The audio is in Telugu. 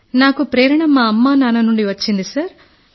నాకు ప్రేరణ మా అమ్మా నాన్న నుండి వచ్చింది సార్